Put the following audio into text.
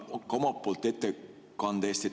Tänan ka omalt poolt ettekande eest.